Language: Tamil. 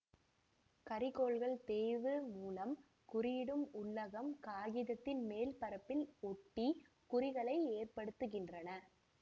கரிக்கோல்கள் தேய்வு மூலம் குறியிடும் உள்ளகம் காகிதத்தின் மேல்பரப்பில் ஒட்டி குறிகளை ஏற்படுத்துகின்றன